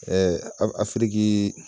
Ɛɛ afiriki